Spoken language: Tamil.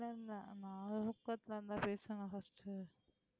இல்லை இல்லை நானும் தூக்கத்துல பேசுவேனா first உ